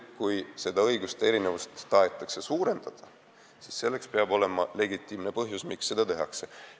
Kui seda õiguste erinevust tahetakse nüüd suurendada, siis selleks peab olema legitiimne põhjus, miks seda tehakse.